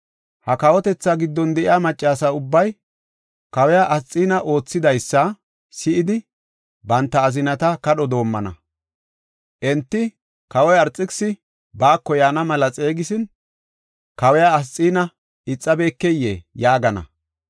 Ha kawotetha giddon de7iya maccasi ubbay kawiya Asxiina oothidaysa si7idi, banta azinata kadho doomana. Enti, ‘Kawoy Arxekisisi baako yaana mela xeegisin, kawiya Asxiina ixabekeyee?’ yaagana.